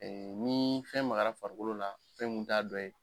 Ɛɛ ni fɛn magara farikolo la fɛn min t'a dɔ ye